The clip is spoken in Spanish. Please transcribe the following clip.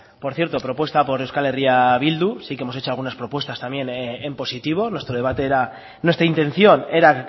por cierto propuesta por euskal herria bildu sí que hemos hecho algunas propuestas también en positivo nuestro debate era nuestra intención era